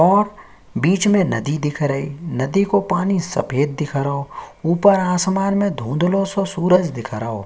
और बिच में नदी दिख रही नदी को पानी सफ़ेद दिख रहो ऊपर आसमान में धुन्दलो सो सूरज दिख रहो।